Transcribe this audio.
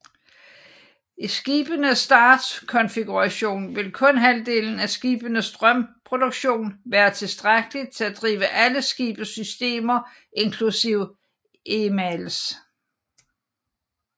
I skibenes startkonfiguration vil kun halvdelen af skibenes strømproduktion være tilstrækkelig til at drive alle skibets systemer inklusiv EMALS